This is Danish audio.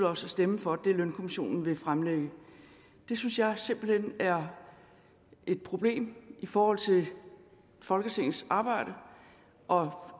os at stemme for det lønkommissionen vil fremlægge det synes jeg simpelt hen er et problem i forhold til folketingets arbejde og